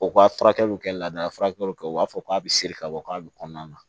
U ka furakɛliw kɛ lada furakɛliw kɛ u b'a fɔ k'a bɛ se ka bɔ k'a bɛ kɔnɔna na